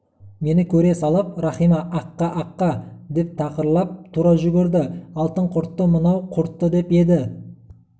мені көре салып рахима аққа аққа деп тапырлап тұра жүгірді алтын құртты мынау құртты деп еді